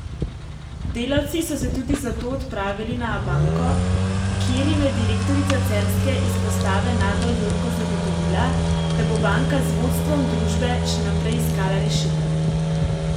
Delavci so se tudi zato odpravili na Abanko, kjer jim je direktorica celjske izpostave Nada Jurko zagotovila, da bo banka z vodstvom družbe še naprej iskala rešitev.